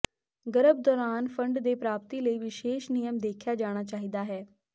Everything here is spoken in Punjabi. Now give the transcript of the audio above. ਗਰਭ ਦੌਰਾਨ ਫੰਡ ਦੇ ਪ੍ਰਾਪਤੀ ਲਈ ਵਿਸ਼ੇਸ਼ ਨਿਯਮ ਦੇਖਿਆ ਜਾਣਾ ਚਾਹੀਦਾ ਹੈ